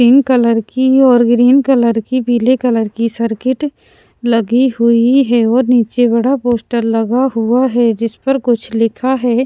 Pink colour की और green colour की पीले कलर की सर्किट लगी हुई है और नीचे बड़ा पोस्टर लगा हुआ है जिस पर कुछ लिखा है।